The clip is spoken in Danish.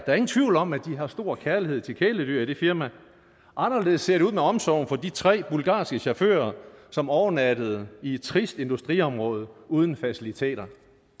er ingen tvivl om at de har stor kærlighed til kæledyr i det firma anderledes ser det ud med omsorgen for de tre bulgarske chauffører som overnattede i et trist industriområde uden faciliteter